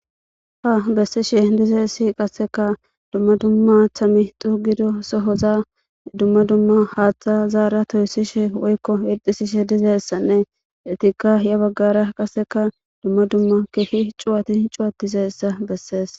ha bessishe dizaysi qasseka dumma dumma thami dugido sohoza dumma dumma haaththa zaara toyssishe woykko irdisishe dizeyssanne etikka ya baggara qasseka dumma dumma keehi cuwati cuwatizayssa bessees